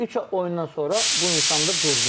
Amma üç oyundan sonra bu insan da durdu.